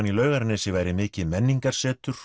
í Laugarnesi væri mikið menningarsetur